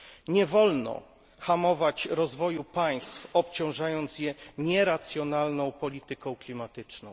Nie wolno hamować rozwoju państw, obciążając je nieracjonalną polityką klimatyczną.